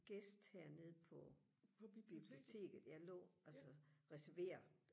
gæst hernede på biblioteket jeg lå altså reserverer